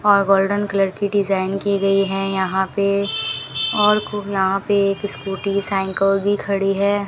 और golden colour की design की गयी है यहां पे और यहां पे एक स्कूटी साइकल भी खड़ी है।